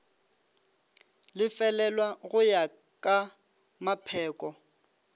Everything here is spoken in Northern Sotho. lefelelwa go ya ka mapheko